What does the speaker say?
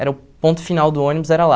Era o ponto final do ônibus, era lá.